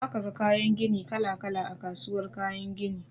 Za ka ga kayan gini kala-kala a kasuwar kayan gini.